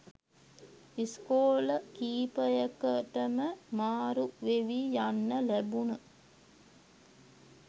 ඉස්කෝල කීපයකටම මාරු වෙවී යන්න ලැබුණ